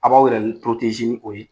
A b'aw yɛrɛ ni o ye.